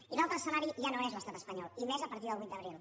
i l’altre escenari ja no és l’estat espanyol i més a partir del vuit d’abril